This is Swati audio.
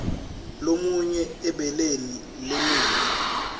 lalumunya ebeleni lenina